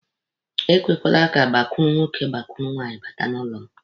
E kwekwala ka gbakụrụ nwoke gbakụrụ nwaanyị bata n'ụlọ m!